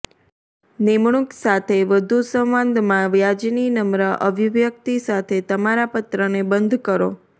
નિમણૂક સાથે વધુ સંવાદમાં વ્યાજની નમ્ર અભિવ્યકિત સાથે તમારા પત્રને બંધ કરો